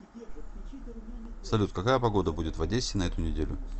салют какая погода будет в одессе на эту неделю